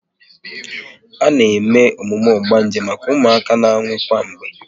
A na eme emume ogbanje maka ụmụaka na-anwụ kwa mgbe